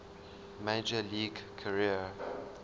major league career